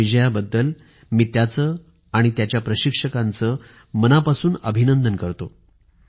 या विजयाबद्दल मी त्यांचे आणि त्यांच्या प्रशिक्षकांचे मनापासून अभिनंदन करतो